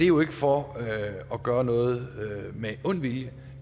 jo ikke for at gøre noget med ond vilje